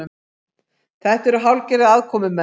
Þetta eru hálfgerðir aðkomumenn